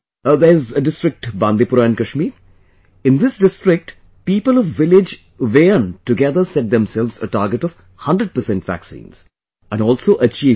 There's district Bandipora in Kashmir...in this district, people of village Weyan together set themselves a target of 100% vaccines...and also achieved it